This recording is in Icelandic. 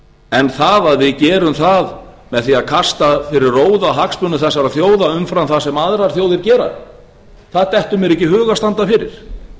en það að við gerum það með því að kasta fyrir róða hagsmunum þessara þjóða umfram það sem aðrar þjóðir gera það dettur mér ekki í hug að standa fyrir